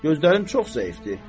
Gözlərim çox zəifdir.